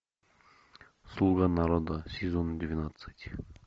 слуга народа сезон двенадцать